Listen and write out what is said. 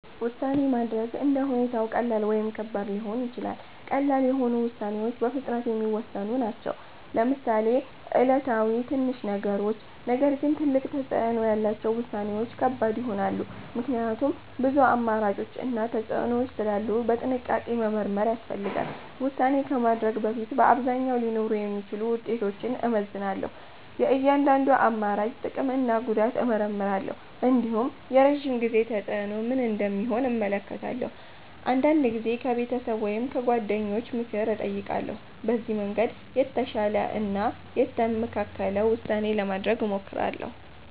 ውሳኔ ማድረግ እንደ ሁኔታው ቀላል ወይም ከባድ ሊሆን ይችላል። ቀላል የሆኑ ውሳኔዎች በፍጥነት የሚወሰኑ ናቸው፣ ለምሳሌ ዕለታዊ ትንሽ ነገሮች። ነገር ግን ትልቅ ተፅዕኖ ያላቸው ውሳኔዎች ከባድ ይሆናሉ፣ ምክንያቱም ብዙ አማራጮች እና ተፅዕኖዎች ስላሉ በጥንቃቄ መመርመር ያስፈልጋል። ውሳኔ ከማድረግ በፊት በአብዛኛው ሊኖሩ የሚችሉ ውጤቶችን እመዝናለሁ። የእያንዳንዱን አማራጭ ጥቅም እና ጉዳት እመርምራለሁ። እንዲሁም የረዥም ጊዜ ተፅዕኖ ምን እንደሚሆን እመለከታለሁ። አንዳንድ ጊዜም ከቤተሰብ ወይም ከጓደኞች ምክር እጠይቃለሁ። በዚህ መንገድ የተሻለ እና የተመካከለ ውሳኔ ለማድረግ እሞክራለሁ።